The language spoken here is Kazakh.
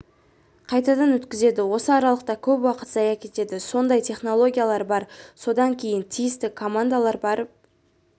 қайтадан өткізеді осы аралықта көп уақыт зая кетеді сондай технологиялар бар содан кейін тиісті командалар барып